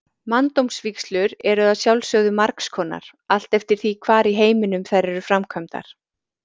Manndómsvígslur eru að sjálfsögðu margs konar, allt eftir því hvar í heiminum þær eru framkvæmdar.